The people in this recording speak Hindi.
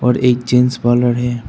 और एक जेंट्स पार्लर है।